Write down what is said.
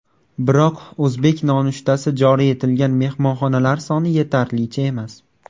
Biroq o‘zbek nonushtasi joriy etilgan mehmonxonalar soni yetarlicha emas.